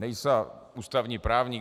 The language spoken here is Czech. Nejsem ústavní právník.